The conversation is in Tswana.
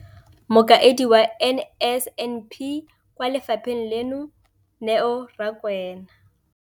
Mokaedi wa NSNP kwa lefapheng leno, Neo Rakwena,